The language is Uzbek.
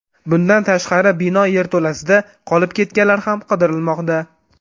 Bundan tashqari, bino yerto‘lasida qolib ketganlar ham qidirilmoqda.